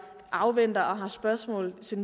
afventer udvalgsbehandlingen og har spørgsmål til